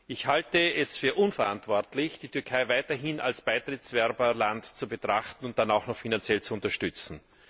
Ich halte es für unverantwortlich, die Türkei weiterhin als Beitrittsbewerberland zu betrachten und dann auch noch finanziell zu unterstützen.